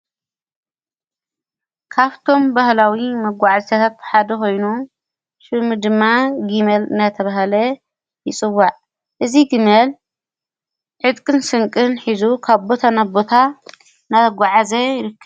ካፍቶም በህላዊ መጕዕ ዝተታትሓደ ኾይኑ ሹሚ ድማ ጊሜል ነተበሃለ ይጽዋዕ እዙ ጊሜል ዕጥቅን ስንቅን ኂዙ ካቦተ ናቦታ ነተጐዓ ዘ ይርከብ።